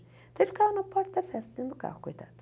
Então, ele ficava na porta da festa, dentro do carro, coitado.